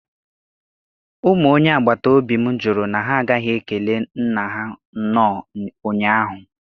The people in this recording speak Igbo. Ụmụ onye agbataobi m jụrụ na ha agaghi ekele nna ha nnọọ ụnyahụ.